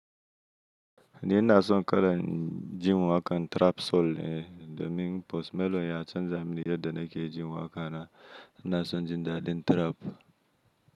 N'ina son kalan jin wakan trap soul ne domin Post Malone ya canza min yadda nake jin waƙana, ina son jin dadin trap.